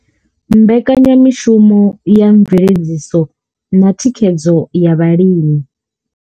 Mbekanya mishumo ya mveledziso na thikhedzo ya vhalimi.